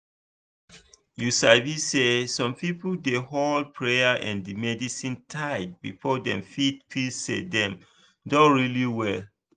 you sabi say some people dey hold prayer and medicine tight before dem fit feel say dem don really well.